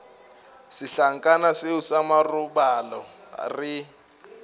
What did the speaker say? setlankana seo sa marobalo re